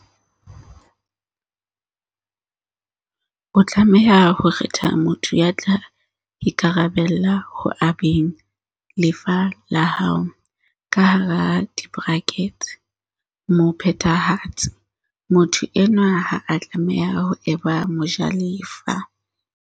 O tlameha ho kgetha motho ya tla ikarabella ho abeng lefa la hao, mo phethahatsi. Motho enwa ha a tlameha ho eba mo jalefa.